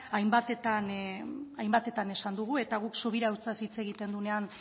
hainbatetan esan dugu eta guk